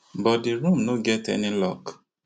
but di room no get any lock